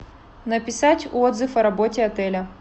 написать отзыв о работе отеля